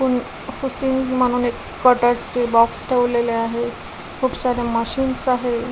कोणी पुसतील म्हणून एक कॉटन्स चे बॉक्स ठेवलेले आहेत खूप सारे मशिन्स आहेत.